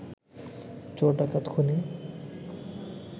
চোর ডাকাত খুনী